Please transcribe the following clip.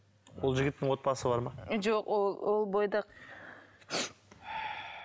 ол жігіттің отбасы бар ма жоқ ол ол бойдақ